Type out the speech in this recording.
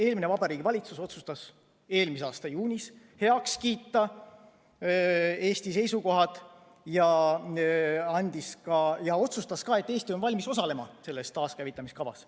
Eelmine Vabariigi Valitsus otsustas eelmise aasta juunis heaks kiita Eesti seisukohad ja otsustas ka, et Eesti on valmis osalema selles taaskäivitamise kavas.